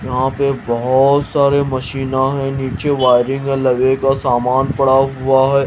यहां पे बहोत सारे मशीना है नीचे वायरिंग लगेगा सामान पड़ा हुआ है।